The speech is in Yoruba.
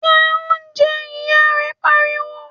jẹ oúnjẹ! ìyá rẹ̀ pariwo